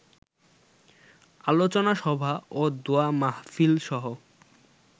আলোচনা সভা ও দোয়া মাহফিলসহ